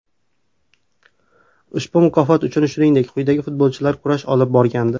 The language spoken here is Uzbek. Ushbu mukofot uchun shuningdek, quyidagi futbolchilar kurash olib borgandi: !